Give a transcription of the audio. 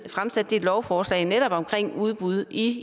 fremsatte et lovforslag netop om udbud i